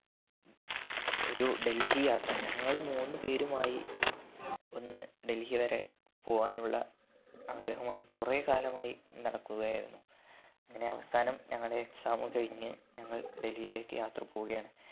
ഒരു ഡൽഹി യാത്ര ഞങ്ങള് മൂന്നു പേരുമായി ഒന്ന് ഡൽഹി വരെ പോവാനുള്ള ആഗ്രഹമായി കൊറേ കാലമായി നടക്കുകയായിരുന്നു അങ്ങനെ അവസാനം ഞങ്ങടെ exam കഴിഞ്ഞ് ഞങ്ങൾ ഡൽഹിലേക്ക് യാത്ര പോകുകയാണ്